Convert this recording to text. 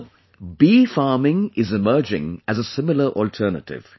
Now bee farming is emerging as a similar alternative